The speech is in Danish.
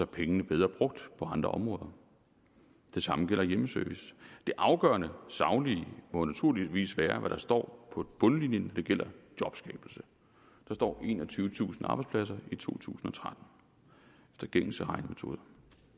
pengene bedre brugt på andre områder det samme gælder hjemmeservice det afgørende saglige må naturligvis være hvad der står på bundlinjen det gælder jobskabelse der står enogtyvetusind arbejdspladser i to tusind og tretten efter gængse regnemetoder